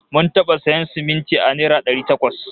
Mun taɓa sayan siminti a naira dari takwas